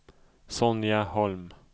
Sonja Holm